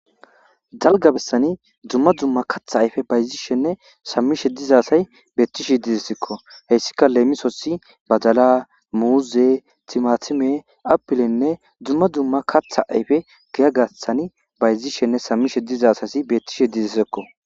Dalga bessani dzumma dumma katha ayfe bayzishenne sammishe dizasay beettishe dizessekko heyssika leemisossi bajala muuze timatime apilenne dzumma dumma katha ayfe giya gathani bayzishenne sammishe dizasasi beettishe dizissekko.